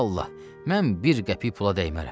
vallah, mən bir qəpik pula dəymərəm.